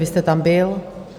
Vy jste tam byl?